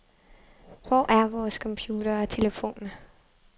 Hvor er vores computere og telefoner.